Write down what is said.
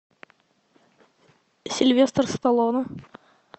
сильвестр сталлоне